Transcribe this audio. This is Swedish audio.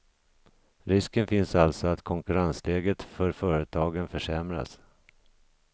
Risken finns alltså att konkurrensläget för företagen försämras.